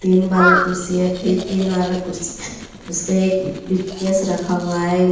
तीन वाला फिर तीन वाला कुर्सी है उस पे एक बिटकेस रखा हुआ है।